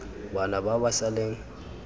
bana ba ba sa leng